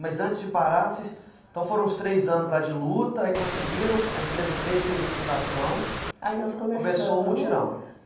Mas antes de parar, vocês, então foram os três anos lá de luta, aí conseguiram, a empresa veio e fez a fundação, aí nós começamos, começou o mutirão.